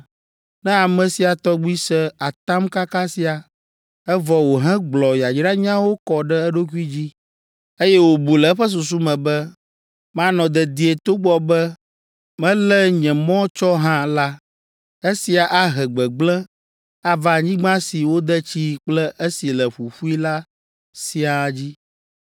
Ne ame sia tɔgbi se atamkaka sia, evɔ wòhegblɔ yayranyawo kɔ ɖe eɖokui dzi, eye wòbu le eƒe susu me be, “Manɔ dedie togbɔ be melé nye mɔ tsɔ hã” la, esia ahe gbegblẽ ava anyigba si wode tsii kple esi le ƒuƒui la siaa dzi.